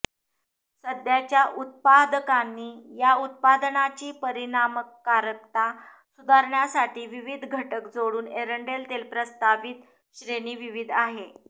सध्याच्या उत्पादकांनी या उत्पादनाची परिणामकारकता सुधारण्यासाठी विविध घटक जोडून एरंडेल तेल प्रस्तावित श्रेणी विविध आहे